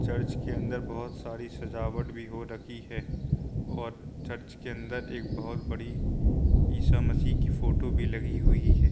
Church के अंदर बोहोत सारी सजावट भी हो रखी है और चर्च के अंदर एक बोहत बड़ी ईसामसीह की फोटो भी लगी हुई है।